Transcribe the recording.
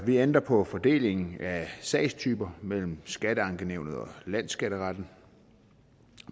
vi ændrer på fordelingen af sagstyper mellem skatteankenævnet og landsskatteretten